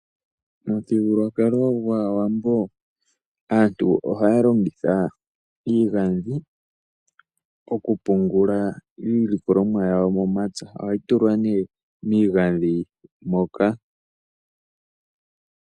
Momuthigululwakalo gwAawambo aantu oha longitha iigadhi okupungula iilikolomwa yawo yomomapya. Ohayi tulwa ne miigadhi moka.